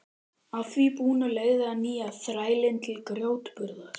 Að því búnu leigði hann nýja þrælinn til grjótburðar.